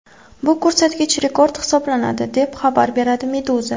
Bu ko‘rsatkich rekord hisoblanadi, deb xabar beradi Meduza.